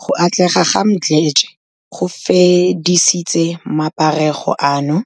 Go atlega ga Mdletshe go fedisitse maparego ano,